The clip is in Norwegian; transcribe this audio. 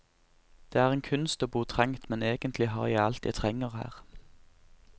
Det er en kunst å bo trangt, men egentlig har jeg alt jeg trenger her.